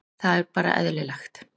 Það er bara eðlilegt